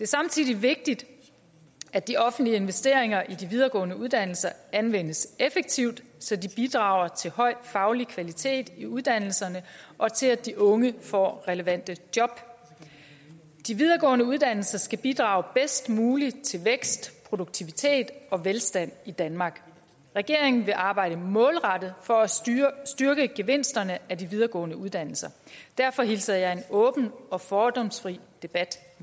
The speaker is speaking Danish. samtidig vigtigt at de offentlige investeringer i de videregående uddannelser anvendes effektivt så de bidrager til høj faglig kvalitet i uddannelserne og til at de unge får relevante job de videregående uddannelser skal bidrage bedst muligt til vækst produktivitet og velstand i danmark regeringen vil arbejde målrettet for at styrke styrke gevinsterne af de videregående uddannelser derfor hilser jeg en åben og fordomsfri debat